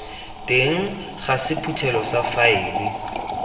teng ga sephuthelo sa faele